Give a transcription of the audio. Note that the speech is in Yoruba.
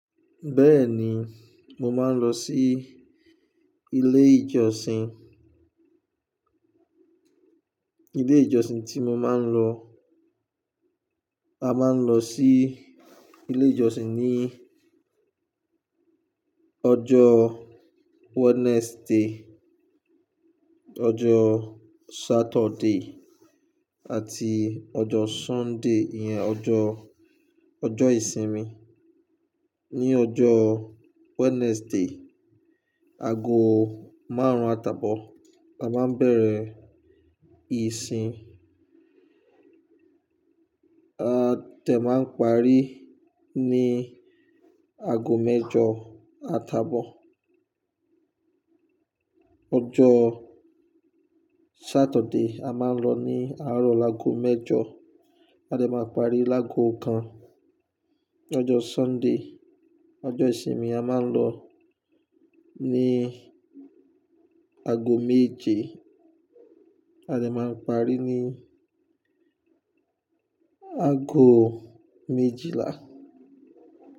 Bẹ́ẹ̀ni, mo máa ń lọ sí ilé ìjọsìn. Ilé ìjọsìn tí mo máa ń lọ, a máa ń lọ sí ilé ìjọsìn ní ọjọ́ Wednesday, ọjọ́ Saturday àti ọjọ́ Sunday yẹn, ọjọ́, ọjọ́ ìsinmi. Ní ọjọ́ Wednesday, ago márùn-ún atabọ a máa bẹ̀rẹ̀ ìsìn, a tẹ̀ máa parí ní ago mẹ́jọ atabọ. Ọjọ́ Saturday, a máa lọ ní àárọ̀ lágọọ mẹ́jọ, a dẹ̀ máa parí lágọọ kan. Ọjọ́ Sunday, ọjọ́ ìsinmi, a máa lọ ní ago méje, a tẹ̀ máa parí ní ago méjìlá.